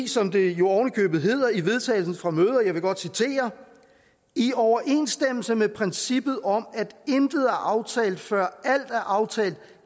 som det ovenikøbet hedder i vedtagelsen fra mødet og jeg vil godt citere i overensstemmelse med princippet om at intet er aftalt før alt er aftalt